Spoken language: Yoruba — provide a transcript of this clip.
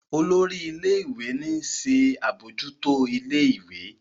olórí ilé ìwé ní nṣe abojuto ilé ìwé.